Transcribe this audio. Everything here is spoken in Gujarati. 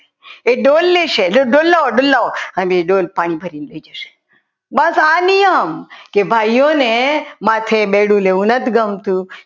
એ ડોલે લેશે એ ડોલ લાવો ડોલ લાવો અને એ ડોલ પાણી ભરીને લઈ જશો બસ આ નિયમ કે ભાઈઓને માથે બેડું લેવું નથી ગમતું.